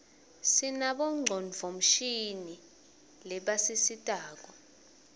sinabo ngcondvomshini lebasisitako